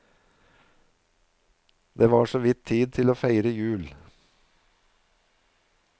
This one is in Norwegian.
Det var såvidt tid til å feire jul.